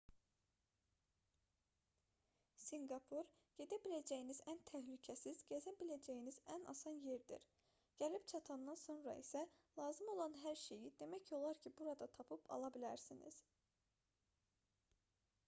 sinqapur gedə biləcəyiniz ən təhlükəsiz gəzə biləcəyiniz ən asan yerdir gəlib çatandan sonra sizə lazım olan hər şeyi demək olar ki burada tapıb ala bilərsiniz